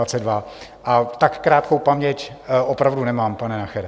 A tak krátkou paměť opravdu nemám, pane Nachere.